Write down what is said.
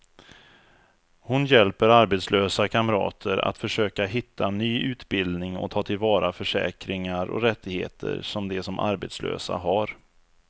Hon hjälper arbetslösa kamrater att försöka hitta ny utbildning och ta till vara försäkringar och rättigheter som de som arbetslösa har.